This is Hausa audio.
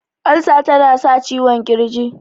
Ulcer ta na sa ciwon kirji